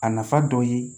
A nafa dɔ ye